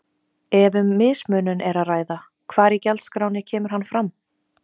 Ef um mismunun er að ræða hvar í gjaldskránni kemur hann fram?